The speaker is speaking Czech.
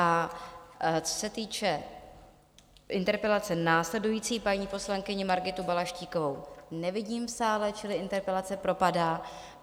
A co se týče interpelace následující, paní poslankyni Margitu Balaštíkovou nevidím v sále, čili interpelace propadá.